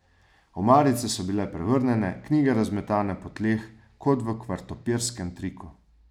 Omarice so bile prevrnjene, knjige razmetane po tleh kot v kvartopirskem triku.